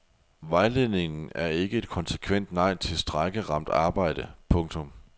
Vejledningen er ikke et konsekvent nej til strejkeramt arbejde. punktum